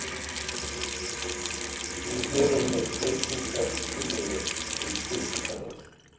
Við erum með breytingartillögu um stúdentaráð